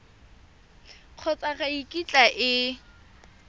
kgotsa ga e kitla e